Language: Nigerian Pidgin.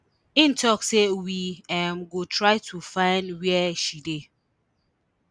im tok say we um go try to find wia she dey